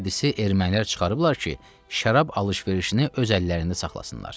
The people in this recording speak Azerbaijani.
Bu hədisi ermənilər çıxarıblar ki, şərab alış-verişini öz əllərində saxlasınlar.